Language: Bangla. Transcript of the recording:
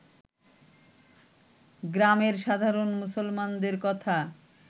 গ্রামের সাধারণ মুসলমানদের কথা